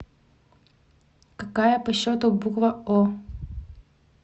какая по счету буква о